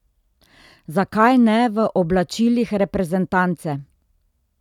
Zakaj ne v oblačilih reprezentance?